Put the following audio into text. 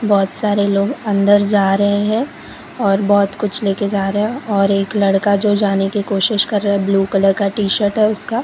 बहोत सारे लोग अंदर जा रहे है और बहोत कुछ लेकर जा रहे है और एक लड़का जो जाने की कोशिश कर रहा है ब्ल्यू कलर का टीशर्ट है उसका।